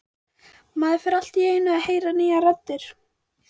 Maður fer allt í einu að heyra nýjar raddir.